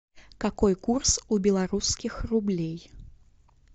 какой курс у белорусских рублей